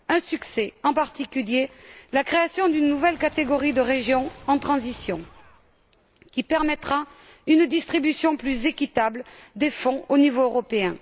Un succès est à noter en particulier la création d'une nouvelle catégorie de régions en transition, qui permettra une distribution plus équitable des fonds au niveau européen.